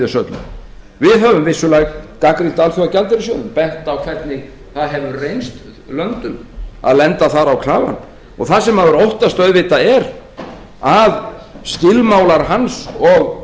öllu við höfum vissulega gagnrýnt alþjóðagjaldeyrissjóðinn bent á hvernig það hefur reynst löndum að lenda þar á klafann og það sem maður óttast auðvitað er að skilmálar hans og